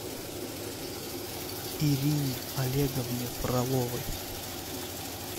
ирине олеговне фроловой